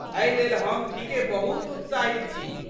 एहि लेल हम ठीके बहुत उत्साहित छी।